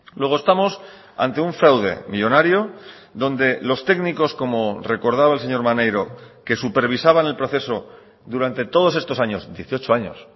luego estamos ante un fraude millónario donde los técnicos como recordaba el señor maneiro que supervisaban el proceso durante todos estos años dieciocho años